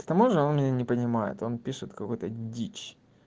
к тому же он меня не понимает он пишет какую-то дичь